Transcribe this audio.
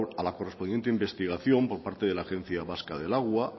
a la correspondiente investigación por parte de la agencia vasca del agua